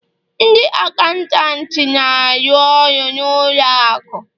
Ndị acantant na-arụ ọrụ na ụlọ akụ